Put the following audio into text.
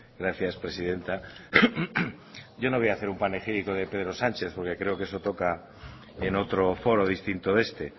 gracias presidenta yo no voy a hacer un panegírico de pedro sánchez porquecreo que eso toca en otro foro distinto de este